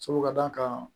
Sabu ka d'a kan